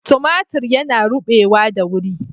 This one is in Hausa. Timatir yana rubewa da wuri.